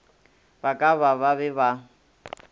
ba ka ba be ba